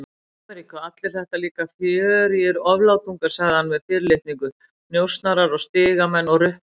Ameríku, allir þetta líka fjörugir oflátungar, sagði hann með fyrirlitningu, njósnarar og stigamenn og ruplarar.